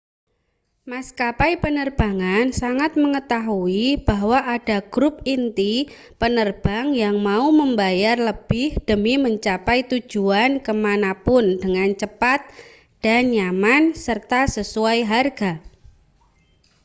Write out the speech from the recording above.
maskapai penerbangan sangat mengetahui bahwa ada grup inti penerbang yang mau membayar lebih demi mencapai tujuan ke mana pun dengan cepat dan nyaman serta sesuai harga